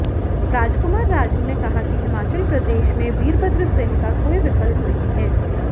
राजकुमार राजू ने कहा कि हिमाचल प्रदेश में वीरभद्र सिंह का कोई विकल्प नहीं है